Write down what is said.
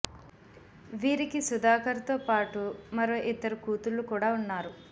వీరికి సుధాకర్ తో పాటు మరో ఇద్దరు కూతుళ్లు కూడ ఉన్నారు